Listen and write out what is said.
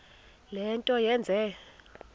le nto yenze